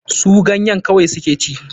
Su ganye kawai su ke ci.